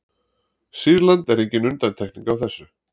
Sýrland er engin undantekning á þessu.